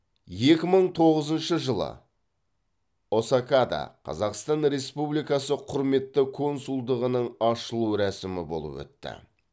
екі мың тоғызыншы жылы осакада қазақстан республикасы құрметті консулдығының ашылу рәсімі болып өтті